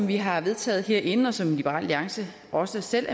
vi har vedtaget herinde og som liberal alliance også selv